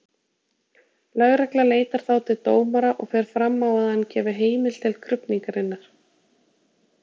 Lögregla leitar þá til dómara og fer fram á að hann gefi heimild til krufningarinnar.